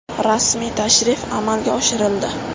Rasmiy tashrif amalga oshirildi.